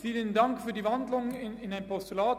Vielen Dank für die Umwandlung in ein Postulat.